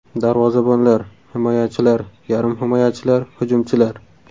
Darvozabonlar: Himoyachilar: Yarim himoyachilar: Hujumchilar: !